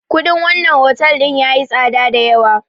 Kuɗin wannan otal ɗin yayi tsada dayawa.